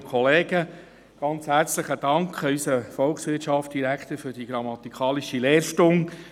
Ganz herzlichen Dank an unseren Volkswirtschaftsdirektor für die grammatikalische Lehrstunde!